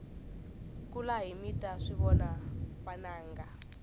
kulahi mita swivona vananga